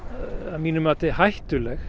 að mínu mati hættuleg